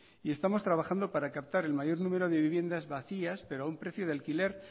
y estamos trabajando para captar el mayor número de viviendas vacías pero a un precio de alquiler